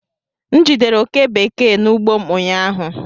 M jidere oke bekee n'ugbo m ụnyaahụ